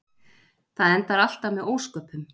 Það endar alltaf með ósköpum.